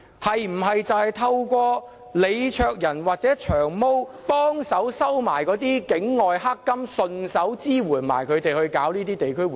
是否透過李卓人或"長毛"幫忙收取境外"黑金"，順便支援他們舉辦地區活動？